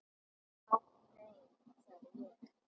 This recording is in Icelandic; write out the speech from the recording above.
Ha, nei, sagði ég.